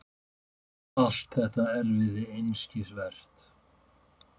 Allt þetta erfiði einskisvert.